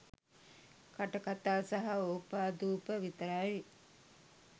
කටකතා සහ ඕපාදුප විතරයි.